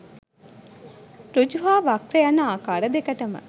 සෘජු සහ වක්‍ර යන ආකාර දෙකටම